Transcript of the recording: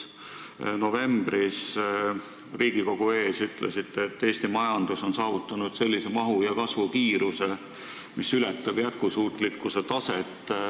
Novembris Riigikogu ees olles ütlesite, et Eesti majandus on saavutanud sellise mahu ja kasvukiiruse, mis ületab jätkusuutlikkuse taset.